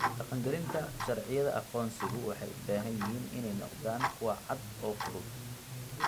Dhaqangelinta sharciyada aqoonsigu waxay u baahan yihiin inay noqdaan kuwo cad oo fudud.